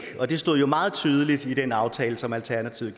og det stod meget tydeligt i den aftale som alternativet